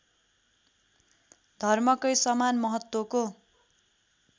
धर्मकै समान महत्त्वको